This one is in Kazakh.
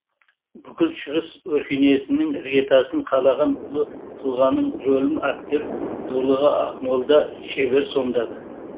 бүкіл шығыс өркениетінің іргетасын қалаған ұлы тұлғаның рөлін актер дулыға ақмолда шебер сомдады